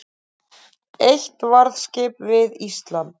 Eitt varðskip við Ísland